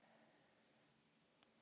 Og eiginlega bara frekar rómantískt.